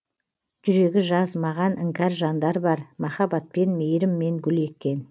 жүрегі жаз маған іңкәр жандар бар махаббатпен мейіріммен гүл еккен